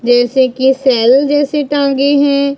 जैसे की सेल जैसे टंगे हैं।